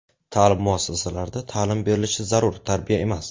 Ta’lim muassasalarida ta’lim berilishi zarur, tarbiya emas.